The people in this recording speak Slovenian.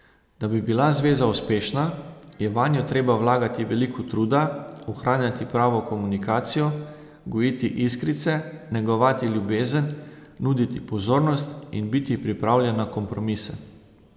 Da bi bila zveza uspešna, je vanjo treba vlagati veliko truda, ohranjati pravo komunikacijo, gojiti iskrice, negovati ljubezen, nuditi pozornost in biti pripravljen na kompromise.